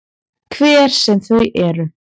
Hver sem þau eru.